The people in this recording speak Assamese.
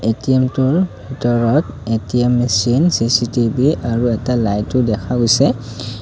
এ_টি_এমটোৰ ভিতৰত এ_টি_এম মেচিন চি_চি_টি_ভি আৰু এটা লাইটো দেখা গৈছে।